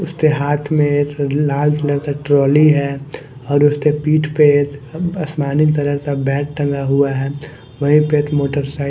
उसके हाथ में एक लाल कलर का ट्रॉली है और उसके पीठ पे एक आसमानी कलर का बैग टंगा हुआ है वहीं पे एक मोटरसाइक--